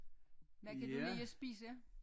Hvad kan du lide at spise